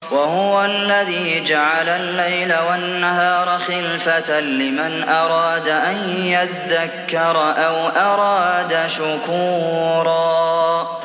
وَهُوَ الَّذِي جَعَلَ اللَّيْلَ وَالنَّهَارَ خِلْفَةً لِّمَنْ أَرَادَ أَن يَذَّكَّرَ أَوْ أَرَادَ شُكُورًا